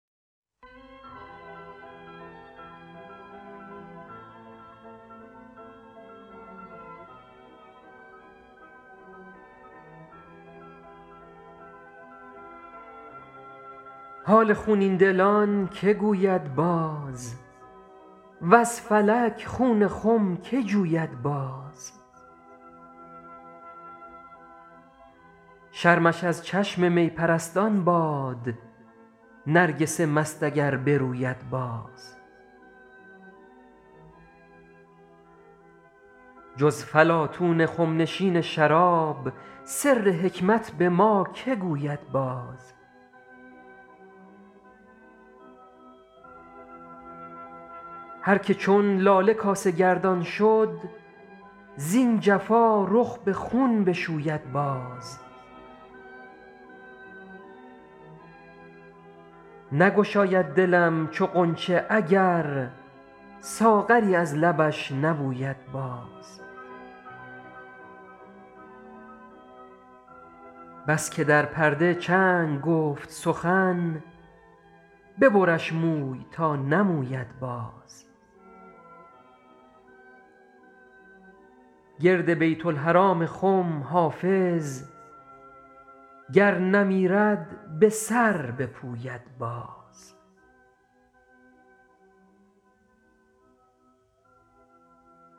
حال خونین دلان که گوید باز وز فلک خون خم که جوید باز شرمش از چشم می پرستان باد نرگس مست اگر بروید باز جز فلاطون خم نشین شراب سر حکمت به ما که گوید باز هر که چون لاله کاسه گردان شد زین جفا رخ به خون بشوید باز نگشاید دلم چو غنچه اگر ساغری از لبش نبوید باز بس که در پرده چنگ گفت سخن ببرش موی تا نموید باز گرد بیت الحرام خم حافظ گر نمیرد به سر بپوید باز